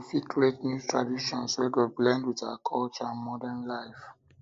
we fit create new traditions wey go blend with our culture and modern life